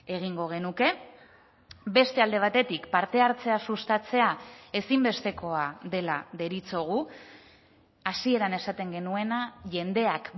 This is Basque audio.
egingo genuke beste alde batetik parte hartzea sustatzea ezinbestekoa dela deritzogu hasieran esaten genuena jendeak